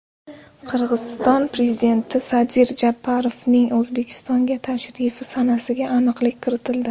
Qirg‘iziston prezidenti Sadir Japarovning O‘zbekistonga tashrifi sanasiga aniqlik kiritildi.